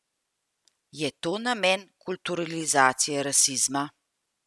Je to namen kulturalizacije rasizma?